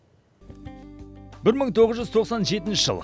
бір мың тоғыз жүз тоқсан жетінші жыл